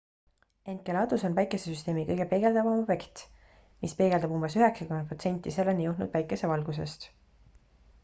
enceladus on päikesesüsteemi kõige peegeldavam objekt mis peegeldab umbes 90 protsenti selleni jõudnud päikesevalgusest